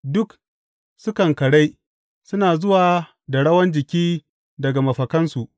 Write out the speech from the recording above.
Duk sukan karai; suna zuwa da rawan jiki daga mafakansu.